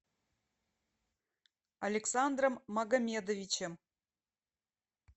александром магомедовичем